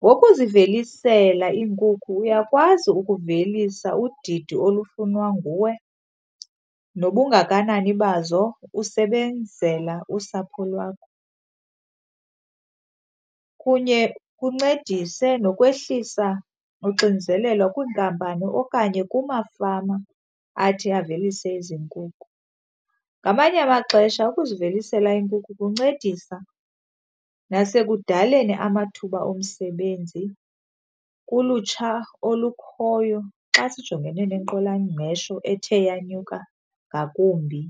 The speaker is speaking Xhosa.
Ngokuzivelisela iinkukhu uyakwazi ukuvelisa udidi olufunwa nguwe nobungakanani bazo usebenzela usapho lwakho, kunye kuncedise nokwehlisa uxinzelelo kwiinkampani okanye kumafama athi avelise ezi nkukhu. Ngamanye amaxesha ukuzivelisela iinkukhu kuncedisa nasekudaleni amathuba omsebenzi kulutsha olukhoyo xa sijongene nentswelangqesho ethe yanyuka ngakumbi.